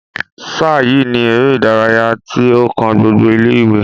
sáà yìi ni eré ìdárayá tí ó kan gbogbo ilé ìwé